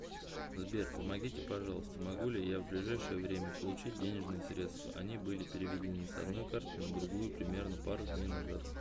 сбер помогите пожалуйста могу ли я в ближайшее время получить денежные средства они были приведены с одной карты на другую примерно пару дней назад